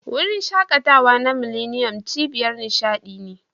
Wurin shaƙatawa na millennium, cibiyar nishadi ne.